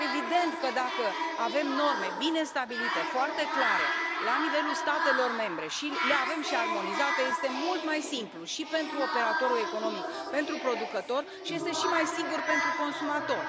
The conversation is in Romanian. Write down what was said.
Evident că, dacă avem norme bine stabilite, foarte clare, la nivelul statelor membre și le avem și armonizate, este mult mai simplu și pentru operatorul economic, pentru producător, și este și mai sigur pentru consumator.